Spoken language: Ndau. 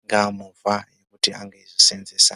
ingava movha kuti ange eizvisenzesa.